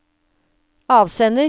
avsender